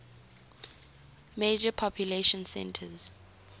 major population centers